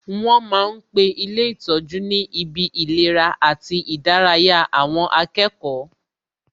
Wọn ma ń pe ilé ìtọ́jú ni ibi ìlera àti ìdárayá àwọn akẹ́kọ̀ọ́